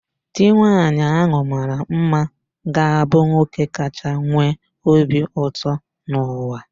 Di nwaanyị ahụ mara mma ga-abụ nwoke kacha nwee obi ụtọ n'ụwa